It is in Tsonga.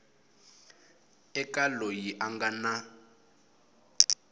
eka loyi a nga na